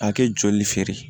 A kɛ joli feere